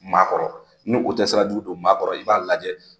Maa kɔrɔ ni u tɛ sira jugu don maa kɔrɔ , i b'a lajɛ